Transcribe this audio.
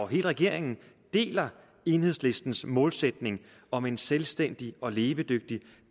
hele regeringen deler enhedslistens målsætning om en selvstændig og levedygtig